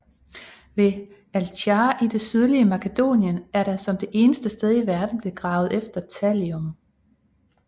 Ved Allchar i det sydlige Makedonien er der som det eneste sted i verden blevet gravet efter thallium